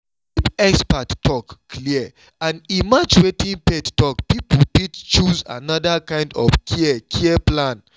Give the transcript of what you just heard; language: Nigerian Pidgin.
if expert talk clear and e match wetin faith talk people fit choose another kind of care care plan.